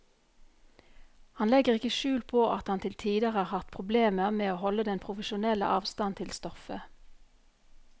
Han legger ikke skjul på at han til tider har hatt problemer med å holde den profesjonelle avstand til stoffet.